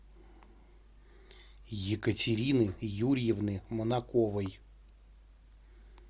екатерины юрьевны манаковой